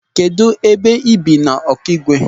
Kedụ ebe i bi n'Ọkịgwe?